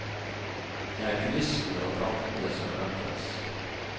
Det er kulissene og draktene som endres.